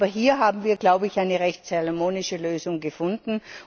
Aber hier haben wir glaube ich eine recht salomonische Lösung gefunden.